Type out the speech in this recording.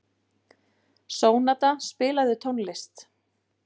Sónata, spilaðu tónlist.